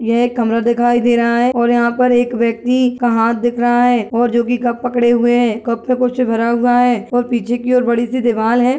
यह एक कमरा दिखाई दे रहा है और यहाँ पर एक व्यक्ति का हाथ दिख रहा है और जो की कप पकड़े हुए है कप में कुछ भरा हुआ है और पीछे की ओर बड़ी सी दिवाल है।